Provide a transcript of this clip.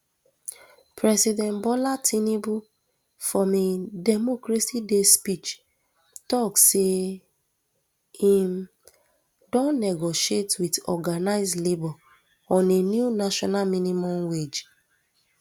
president bola tinubu for im democracy day speech tok say im um don negotiate wit organised labour on a new national minimum wage